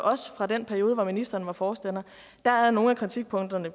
også fra den periode hvor ministeren var forstander er er nogle af kritikpunkterne